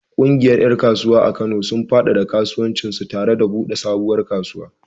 Ƙungiyar ƴan kasuwa a Kano, sun faɗaɗa kasuwancinsu tare da buɗe sabuwar kasuwa.